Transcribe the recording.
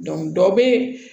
dɔ bɛ